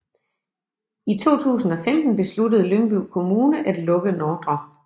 I 2015 besluttede Lyngby Kommune at lukke Ndr